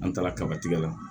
An taara kaba tigɛ la